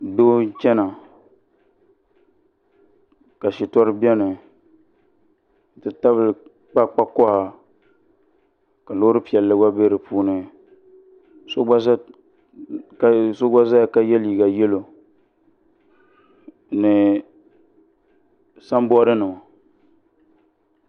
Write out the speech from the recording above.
Doo n chɛna ka shitori bɛni n ti tabili kpakpa koha ka loori piɛlli gba bɛ di puuni so gba ʒɛya ka yɛ liiga yɛlo ni sanboodi nima